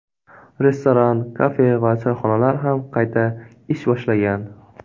Restoran, kafe va choyxonalar ham qayta ish boshlagan.